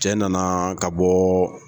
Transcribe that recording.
Cɛ nana ka bɔɔ.